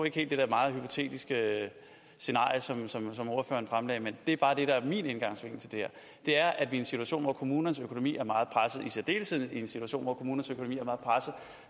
ikke helt det der meget hypotetiske scenarie som ordføreren fremlagde men min indgangsvinkel til det her er at i en situation hvor kommunernes økonomi er meget presset i særdeleshed i en situation hvor kommunernes økonomi